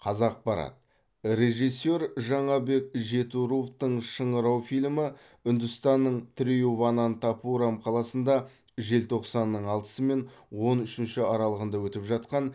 қазақпарат режиссер жаңабек жетіруовтың шыңырау фильмі үндістанның триуванантапурам қаласында желтоқсанның алты мен он үшінші аралығында өтіп жатқан